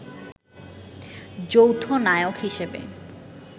যৌথ নায়ক হিসেবে